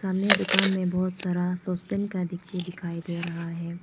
सामने दुकान में बहुत सारा शॉपिंग का दृश्य दिखाई दे रहा है।